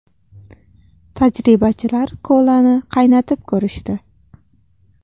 Tajribachilar kolani qaynatib ko‘rishdi .